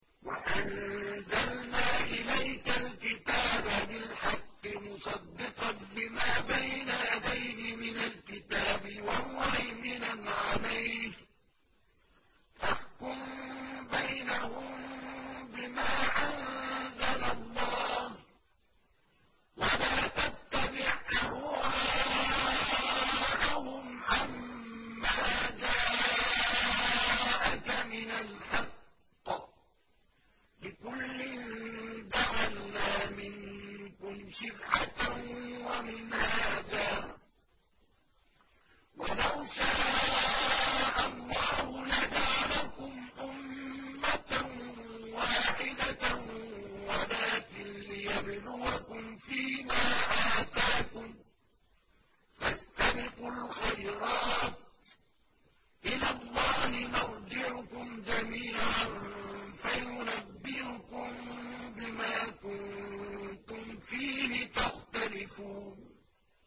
وَأَنزَلْنَا إِلَيْكَ الْكِتَابَ بِالْحَقِّ مُصَدِّقًا لِّمَا بَيْنَ يَدَيْهِ مِنَ الْكِتَابِ وَمُهَيْمِنًا عَلَيْهِ ۖ فَاحْكُم بَيْنَهُم بِمَا أَنزَلَ اللَّهُ ۖ وَلَا تَتَّبِعْ أَهْوَاءَهُمْ عَمَّا جَاءَكَ مِنَ الْحَقِّ ۚ لِكُلٍّ جَعَلْنَا مِنكُمْ شِرْعَةً وَمِنْهَاجًا ۚ وَلَوْ شَاءَ اللَّهُ لَجَعَلَكُمْ أُمَّةً وَاحِدَةً وَلَٰكِن لِّيَبْلُوَكُمْ فِي مَا آتَاكُمْ ۖ فَاسْتَبِقُوا الْخَيْرَاتِ ۚ إِلَى اللَّهِ مَرْجِعُكُمْ جَمِيعًا فَيُنَبِّئُكُم بِمَا كُنتُمْ فِيهِ تَخْتَلِفُونَ